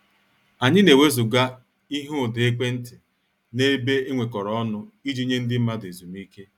Anyị na-ewezuga ihe ụda ekwentị n'ebe enwekoro ọnụ iji nye ndị mmadụ ezumike.